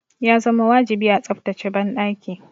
Ya zama wajibi a tsaftace banɗaki.